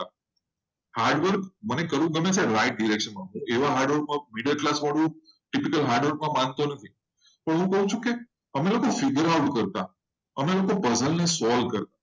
hardware કરવાનું મને ગમે છે. પણ right way માં hardwork નીડર એડમાં નહીં આવી રીતે problem solve કરતા